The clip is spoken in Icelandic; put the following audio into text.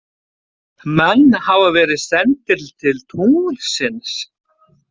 Menn hafa verið sendir til tunglsins.